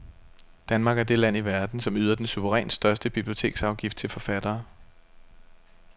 Danmark er det land i verden, som yder den suverænt største biblioteksafgift til forfattere.